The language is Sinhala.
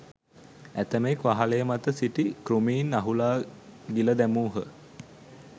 ඇතමෙක් වහලය මත සිටි කෘමීන් අහුලා ගිල දැමූහ.